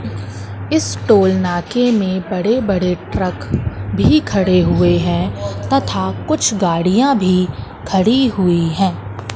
इस तुलना के में बड़े बड़े ट्रक भी खड़े हुए हैं तथा कुछ गाड़ियां भी खड़ी हुई है।